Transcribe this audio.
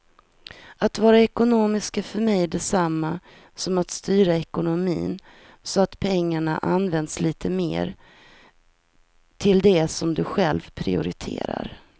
Att vara ekonomisk är för mig detsamma som att styra ekonomin så att pengarna används lite mer till det som du själv prioriterar.